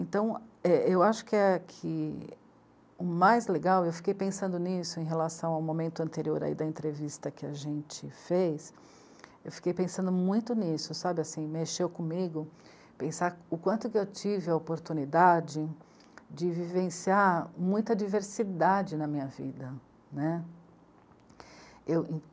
Então, é, eu acho que a, que o mais legal, eu fiquei pensando nisso em relação ao momento anterior aí da entrevista que a gente fez, eu fiquei pensando muito nisso, sabe assim, mexeu comigo, pensar o quanto que eu tive a oportunidade de vivenciar muita diversidade na minha vida, né. Eu